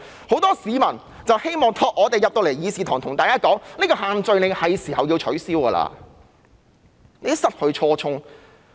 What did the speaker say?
很多市民希望我們在議事堂向大家說，這個限聚令是時候要取消，它已經失去初衷。